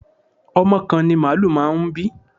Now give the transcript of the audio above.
Ọmọ kan ni màálù máa ń bí.